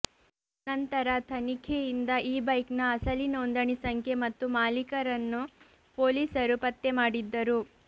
ನಂತರ ತನಿಖೆಯಿಂದ ಈ ಬೈಕ್ನ ಅಸಲಿ ನೋಂದಣಿ ಸಂಖ್ಯೆ ಮತ್ತು ಮಾಲೀಕರನ್ನು ಪೊಲೀಸರು ಪತ್ತೆ ಮಾಡಿದ್ದರು